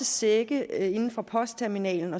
sække inde fra postterminalen